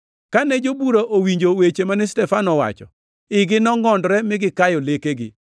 Kane jobura owinjo weche mane Stefano owacho, igi nongʼondore mi gikayone lekegi.